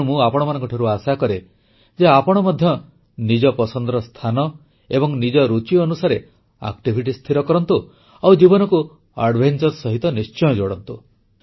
ତେଣୁ ମୁଁ ଆପଣମାନଙ୍କଠାରୁ ଆଶା କରେ ଯେ ଆପଣ ମଧ୍ୟ ନିଜ ପସନ୍ଦର ସ୍ଥାନ ଏବଂ ନିଜ ରୁଚି ଅନୁସାରେ କାର୍ଯ୍ୟ ସ୍ଥିର କରନ୍ତୁ ଆଉ ଜୀବନକୁ ଦୁଃସାହସିକ କ୍ରୀଡ଼ା ସହିତ ନିଶ୍ଚୟ ଯୋଡ଼ନ୍ତୁ